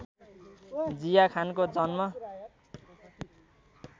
जिया खानको जन्म